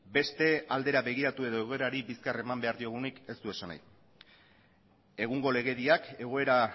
beste aldera begiratu edo egoerari bizkar eman behar diogunik ez du esan nahi egungo legediak egoera